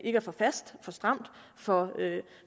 er for fast for stramt for